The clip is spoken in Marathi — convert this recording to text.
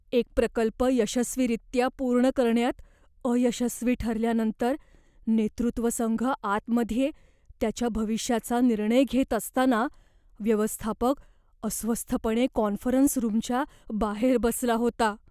एक प्रकल्प यशस्वीरित्या पूर्ण करण्यात अयशस्वी ठरल्यानंतर, नेतृत्व संघ आतमध्ये त्याच्या भविष्याचा निर्णय घेत असताना व्यवस्थापक अस्वस्थपणे कॉन्फरन्स रूमच्या बाहेर बसला होता.